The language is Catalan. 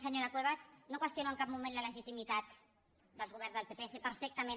senyora cuevas no qüestiono en cap moment la legitimitat dels governs del pp sé perfectament